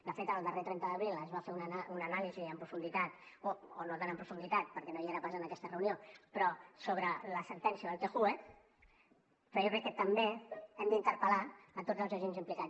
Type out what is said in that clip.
de fet el darrer trenta d’abril es va fer una anàlisi en profunditat o no tant en profunditat perquè no hi era pas en aquesta reunió però sobre la sentència del tjue però jo crec que també hem d’interpel·lar tots els agents implicats